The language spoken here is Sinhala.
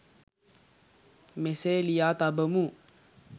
මෙසේ ලියා තබමු.